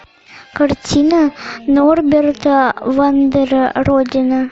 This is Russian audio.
картина норберта вандера родина